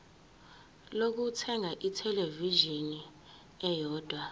lokuthenga ithelevishini eyodwa